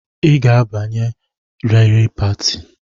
I ga-abanye riri pati!